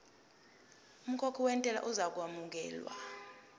umkhokhi wentela uzokwamukelwa